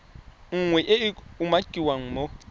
nngwe e e umakiwang mo